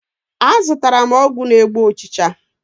Azụtara m ọgwụ na-egbu ụchịcha.